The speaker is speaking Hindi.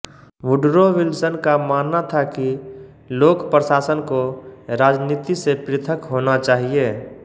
वुडरो विल्सन का मानना था कि लोक प्रशासन को राजनीति से पृथक होना चाहिेए